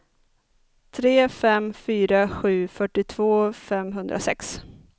tre fem fyra sju fyrtiotvå femhundrasex